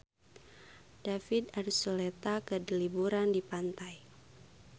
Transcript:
David Archuletta keur liburan di pantai